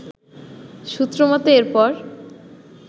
সূত্র মতে এরপর